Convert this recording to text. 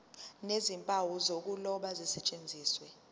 nezimpawu zokuloba zisetshenziswe